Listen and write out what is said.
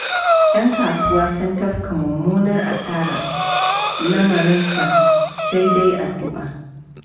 Ƴan kasuwa sun tafka mummunar asarar, lamarin sai dai addu'a.